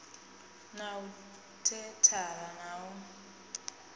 na u thendara na u